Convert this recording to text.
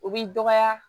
O b'i dɔgɔya